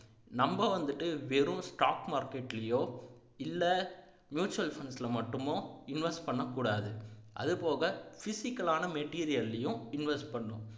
நம்ம வந்துட்டு வெறும் stock market லையோ இல்ல mutual fund ல மட்டுமோ invest பண்ணக்கூடாது அதுபோக physical ஆன material லையும் invest பண்ணணும்